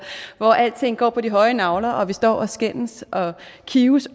hvor alting går på de høje nagler og vi står og skændes og kives